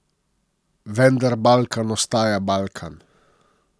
Vendar Balkan ostaja Balkan.